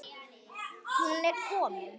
Hún er komin